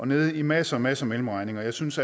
nede i masser masser af mellemregninger jeg synes